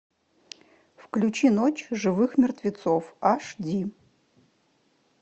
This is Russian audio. включи ночь живых мертвецов аш ди